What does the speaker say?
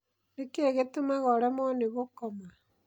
Nĩ kĩĩ gĩtũmaga ũremwo nĩ gũkoma?